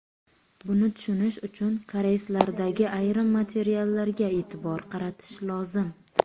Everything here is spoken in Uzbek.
Buni tushunish uchun koreyslardagi ayrim matallarga e’tibor qaratish lozim.